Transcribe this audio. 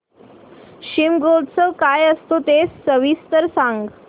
शिमगोत्सव काय असतो ते सविस्तर सांग